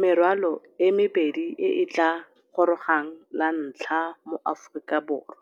Merwalo e mebedi e e tla gorogang lantlha mo Aforika Borwa,